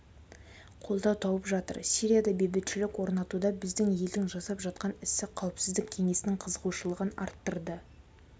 қолдау тауып жатыр сирияда бейбітшілік орнатуда біздің елдің жасап жатқан ісі қауіпсіздік кеңесінің қызығушылығын арттырды